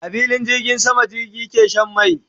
A filin jirgin sama jirgi ke Shan mai